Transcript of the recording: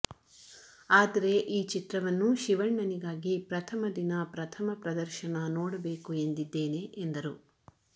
ಆದರೆ ಈ ಚಿತ್ರವನ್ನು ಶಿವಣ್ಣನಿಗಾಗಿ ಪ್ರಥಮ ದಿನ ಪ್ರಥಮ ಪ್ರದರ್ಶನ ನೋಡಬೇಕು ಎಂದಿದ್ದೇನೆ ಎಂದರು